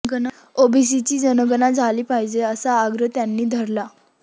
ओबीसींची जनगणना झाली पाहिजे असा आग्रह त्यांनी धरला